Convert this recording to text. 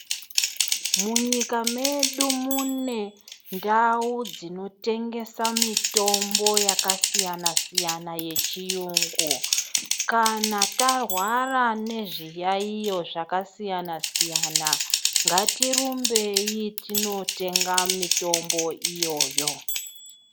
Munyika medu mune ndau dzinotengesa mitombo yakasiyana siyana yechiyungu. Kana tahwara nezviyaiyo zvakasiyana-siyana, ngatirumbei tinotenga mitombo iyoyo.